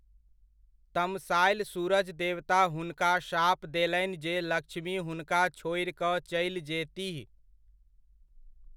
तमसायल सूरज देवता हुनका शाप देलनि जे लक्ष्मी हुनका छोड़ि कऽ चलि जेतीह।